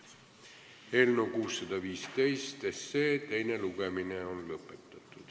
Eelnõu 615 teine lugemine on lõpetatud.